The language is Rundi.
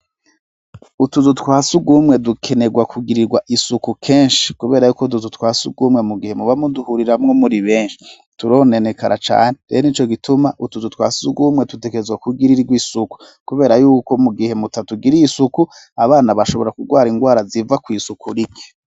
Utuzu twa surwumwe dukenerwa kugirirwa isuku kenshi kubera yuko utuzu twa surwumwe mu gihe muba muduhuriramwo muri benshi, turonenekara cane, rero n'ico gituma utuzu twa surwumwe tutegerezwa kugirirwa isuku, kubera yuko mu gihe mutatugiriye isuku, abana bashobora kurwara indwara ziva kw'isuku rike.